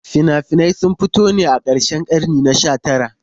Fina-finan sun fito ne a karshen karni na 19.